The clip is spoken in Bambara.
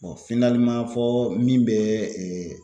fɔɔ min bɛɛ